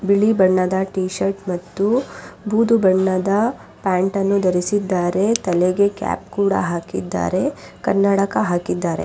ಬಿಳಿ ಬಣ್ಣದ ಟೀಶರ್ಟ್ ಮತ್ತು ಬೂದು ಬಣ್ಣದ ಪ್ಯಾಂಟನ್ನು ಧರಿಸಿದ್ದಾರೆ ತಲೆಗೆ ಕ್ಯಾಪ್ ಕೂಡ ಹಾಕಿದ್ದಾರೆ ಕನ್ನಡಕ ಹಾಕಿದ್ದಾರೆ.